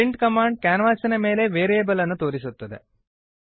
print command ಕ್ಯಾನ್ವಾಸಿನ ಮೇಲೆ variable ಅನ್ನು ತೋರಿಸುತ್ತದೆ